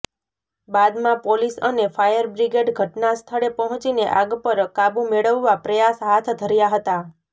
બાદમાં પોલીસ અને ફાયરબ્રિગેડ ઘટનાસ્થળે પહોંચીને આગ પર કાબૂ મેળવવા પ્રયાસ હાથ ધર્યાં હતા